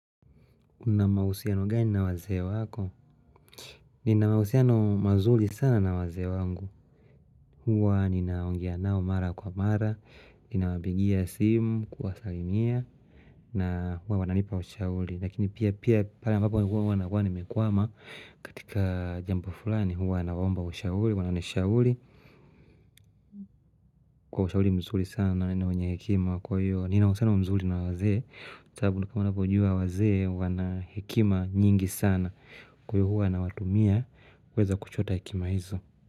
Una mahusiano gani na wazee wako? Nina mahusiano mazuri sana na wazee wangu. Huwa ninaongea nao mara kwa mara. Ninawapigia simu, kuwasalimia. Na huwa wananipa ushauri. Lakini pia pia pale ambapo huwa nakua nimekwama. Katika jambo fulani huwa naomba ushauri. Wananishauri Kwa ushauri mzuri sana na wenye hekima kwa hiyo nina uhusiano mzuri na wazee. Tabu nukamu napo ujua waze wana hekima nyingi sana. Kwa hiyo huwa wanawatumia. Weza kuchoda ikima hizo.